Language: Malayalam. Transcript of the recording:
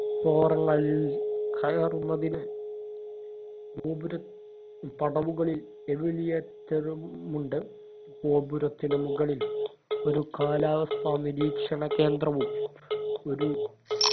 forum ങ്ങൾ കയറുന്നതിന് ഗോപുര പടവുകളിൽ eveliator ഉമുണ്ട് ഗോപുരത്തിനു മുകളിൽ ഒരു കാലാവസ്ഥാ നിരീക്ഷണ കേന്ദ്രവും ഒരു